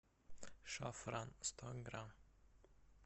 шафран сто грамм